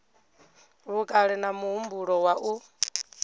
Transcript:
vhukale na muhumbulo wa u